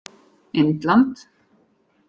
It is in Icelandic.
Indland